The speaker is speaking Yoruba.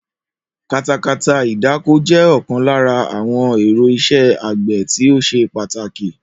Katakata ìdáko jé̩ o̩kan lára àwo̩n è̩ro̩ is̩é̩ àgbè̩ tí ó s̩e pàtàkì